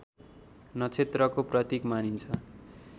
नक्षत्रको प्रतीक मानिन्छ